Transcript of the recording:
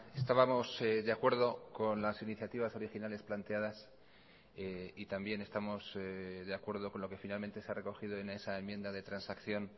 estábamos de acuerdo con las iniciativas originales planteadas y también estamos de acuerdo con lo que finalmente se ha recogido en esa enmienda de transacción